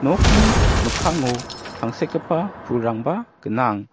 nokni mikkango tangsekgipa pulrangba gnang.